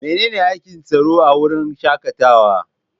Menene aikin tsaro a wurin shakatawa?